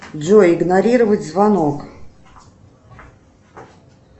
джой игнорировать звонок